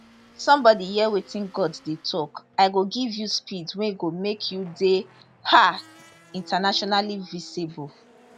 somebody hear wetin god dey tok i go give you speed wey go make you dey um internationally visible